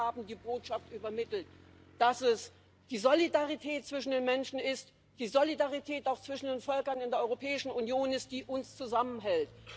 Sie haben die Botschaft übermittelt, dass es die Solidarität zwischen den Menschen, die Solidarität auch zwischen den Völkern in der Europäischen Union ist, die uns zusammenhält.